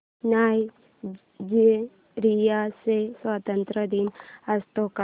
Nigeria चा स्वातंत्र्य दिन असतो का